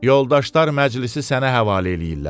Yoldaşlar məclisi sənə həvalə eləyirlər.